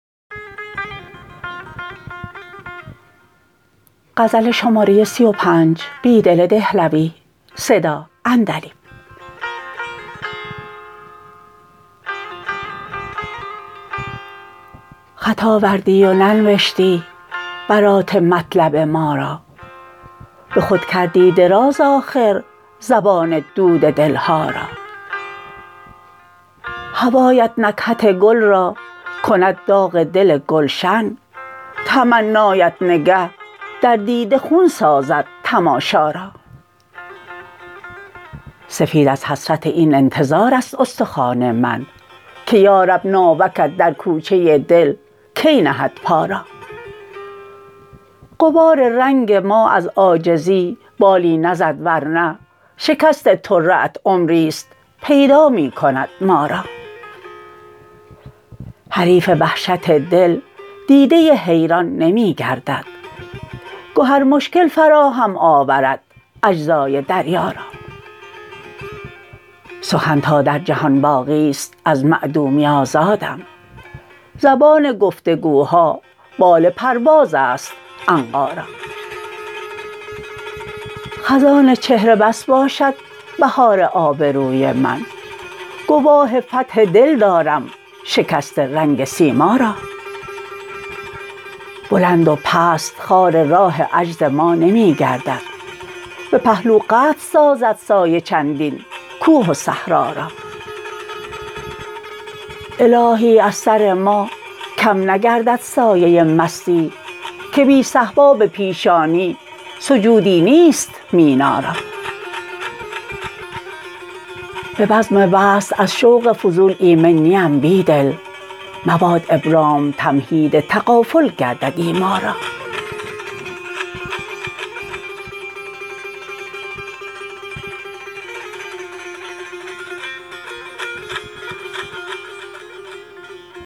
خط آوردی و ننوشتی برات مطلب ما را به خود کردی دراز آخر زبان دود دلها را هوایت نکهت گل را کند داغ دل گلشن تمنایت نگه در دیده خون سازد تماشا را سفید از حسرت این انتظار است استخوان من که یا رب ناوکت در کوچه دل کی نهد پا را غبار رنگ ما از عاجزی بالی نزد ورنه شکست طره ات عمری ست پیدا می کند ما را حریف وحشت دل دیده حیران نمی گردد گهر مشکل فراهم آورد اجزای دریا را سخن تا در جهان باقی ست از معدومی آزادم زبان گفت وگوها بال پرواز است عنقا را خزان چهره بس باشد بهار آبروی من گواه فتح دل دارم شکست رنگ سیما را بلند و پست خار راه عجز ما نمی گردد به پهلو قطع سازد سایه چندین کوه و صحرا را الهی از سر ما کم نگردد سایه مستی که بی صهبا به پیشانی سجودی نیست مینا را به بزم وصل از شوق فضول ایمن نی ام بیدل مباد ابرام تمهید تغافل گردد ایما را